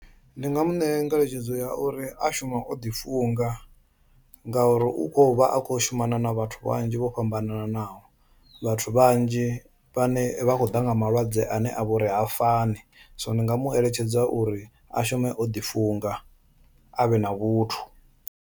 Ndi nga mu ṋea ngeletshedzo ya uri a shume o ḓi funga ngauri u kho vha a kho shumana na vhathu vhanzhi vho fhambananaho, vhathu vhanzhi vhane vha khou ḓa nga malwadze ane a vha uri ha fani so ndi nga mu eletshedza uri a shume o ḓi funga a vhe na vhuthu.